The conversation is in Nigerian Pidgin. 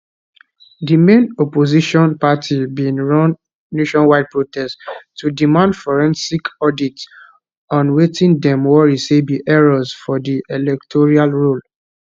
di main opposition party bin run nationwide protest to demand forensic audit on wetin dem worry say be errors for di electoral roll